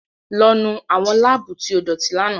Lọ nu awọn labuu ti o idoti làná!